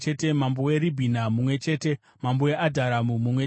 mambo weRibhina mumwe chete mambo weAdhuramu mumwe chete